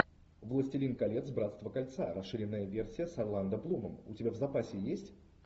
властелин колец братство кольца расширенная версия с орландо блумом у тебя в запасе есть